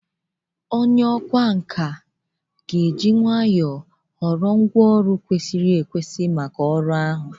Onye ọkwá nkà na-achọsi ike ga-eji nlezianya họrọ ngwá ọrụ kwesịrị ekwesị maka ọrụ ahụ.